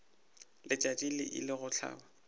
letšatši le ile go hlaba